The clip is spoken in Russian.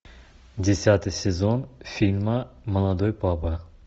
десятый сезон фильма молодой папа